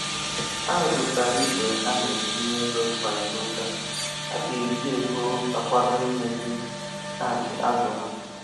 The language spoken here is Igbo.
Ha meputara igbe ha na-etinye ego kwa izu ụka. Ha ga eji ego a akwado imezi tankị azụ ha